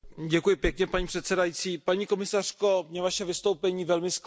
Paní předsedající, paní komisařko, mě Vaše vystoupení velmi zklamalo.